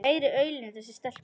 Meiri aulinn þessi stelpa.